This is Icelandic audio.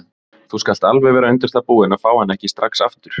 Þú skalt alveg vera undir það búin að fá hann ekki strax aftur.